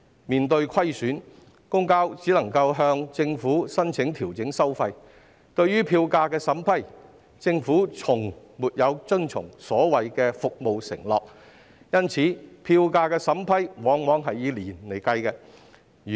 面對虧損，公共交通營辦商只能向政府申請調整收費，但對於票價審批，政府卻從來沒有遵從其所謂服務承諾，因此，票價審批往往要以年作計算。